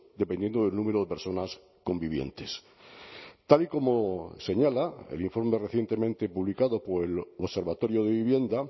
dependiendo del número de personas convivientes tal y como señala el informe recientemente publicado por el observatorio de vivienda